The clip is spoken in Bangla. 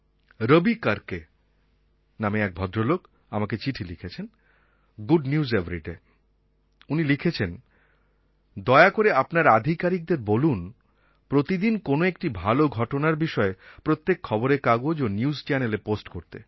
রবি কর্কে নামে এক ভদ্রলোক আমাকে চিঠি লিখেছেন গুড নিউজ এভারিডে উনি লিখেছেন দয়া করে আপনার আধিকারিকদের বলুন প্রতিদিন কোনো একটি ভালো ঘটনার বিষয়ে প্রত্যেক খবরের কাগজ ও নিউজ চ্যানেলএ পোস্ট করতে